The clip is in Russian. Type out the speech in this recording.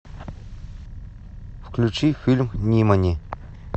включи фильм нимани